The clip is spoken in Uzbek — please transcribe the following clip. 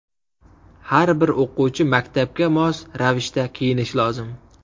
Har bir o‘quvchi maktabga mos ravishda kiyinishi lozim.